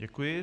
Děkuji.